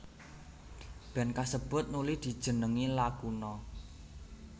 Band kasebut nuli dijenengi Lakuna